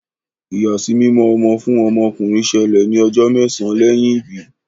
ìyàsímímọ ọmọ fún ọmọ ọkunrin ṣẹlẹ ní ojó mésàn lẹyìn ibí